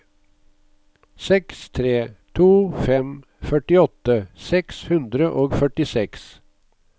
seks tre to fem førtiåtte seks hundre og førtiseks